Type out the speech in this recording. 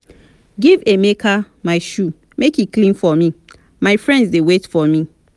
give emeka my shoe make he clean for me my friends dey wait for me